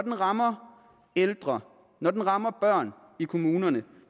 rammer ældre når de rammer børn i kommunerne